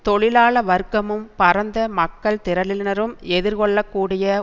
தொழிலாள வர்க்கமும் பரந்த மக்கள் திரளினரும் எதிர்கொள்ளக்கூடிய